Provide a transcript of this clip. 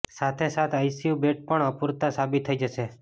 સાથે સાથે ICU bed પણ અપુરતા સાબિત થઇ જશે